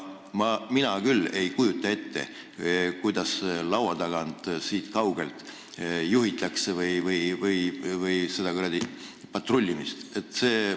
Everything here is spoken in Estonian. Mina küll ei kujuta ette, kuidas laua tagant siit kaugelt seda patrullimist juhitakse.